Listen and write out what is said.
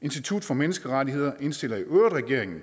institut for menneskerettigheder indstiller i øvrigt til regeringen